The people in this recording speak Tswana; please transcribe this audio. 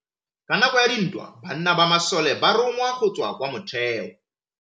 Ka nakô ya dintwa banna ba masole ba rongwa go tswa kwa mothêô.